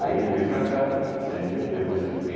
Aí ele veio para cá você entendeu, depois eu fiquei